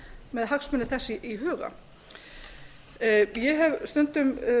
með hagsmuni þess í huga ég hef stundum